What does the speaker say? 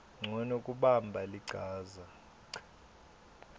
ncono kubamba lichaza